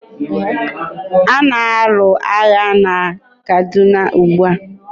a na-alụ agha na Kaduna ugbua.